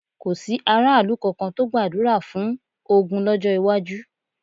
Kò sí aráàlú kankan tó gbàdúrà fún ogun lọ́jọ́ iwájú.